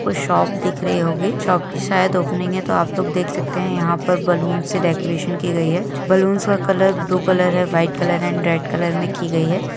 वो शॉप दिख रही होगी शॉप की सायद ओपनिंग है तो आप लोग देख सकते है यहा पर बलून से डेकरैशन की गई हे बलून्स कलर ब्लू कलर हे व्हाइट कलर है एण्ड रेड कलर मे की गई हे।